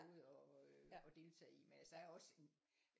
Noget at deltage i men altså der er jo også en